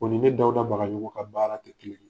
O ni ne Dawuda Bagajogo ka baara te kelen ye.